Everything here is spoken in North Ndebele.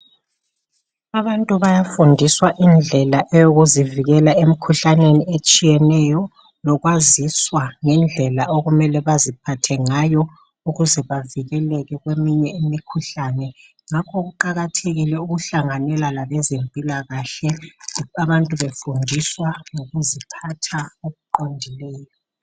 Abantu bayafundiswa indlela eyokuzivikela emkhuhlaneni etshiyeneyo lokwaziswa ngendlela okumele baziphathe ngayo ukuze bavikeleke kweminye imikhuhlane ngakho kuqakathekile ukuhlanganela labezempilakahle abantu befundiswa ngokuziphatha okuqondileyo.